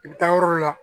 I bɛ taa yɔrɔ la